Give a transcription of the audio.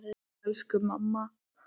Elsku mamma!